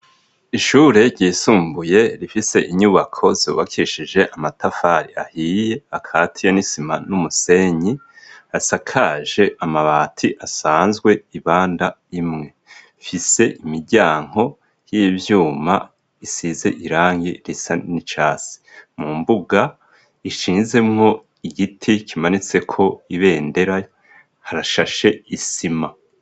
Ishure ryisumbuye rifise inyubako zubakishije amatafari ahiye akatiya n'isima n'umusenyi .asakaje amabati asanzwe ibanda imwe fise imiryango y'ivyuma isize irangi risa nicatsi mu mbuga ishinzemo igiti kimanitse ko ibendera harashashe isima.